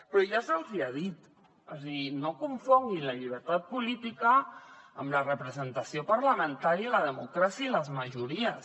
però ja se’ls hi ha dit o sigui no confonguin la llibertat política amb la representació parlamentària la democràcia i les majories